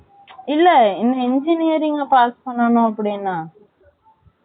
இல்ல இந்த engineering ல pass பண்ணனும் அப்படின்னா